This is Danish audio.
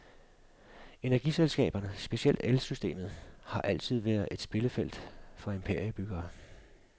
Energiselskaberne, specielt elsystemet, har altid være et spillefelt for imperiebyggere.